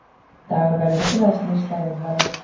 Dagur verður ekki landsliðsþjálfari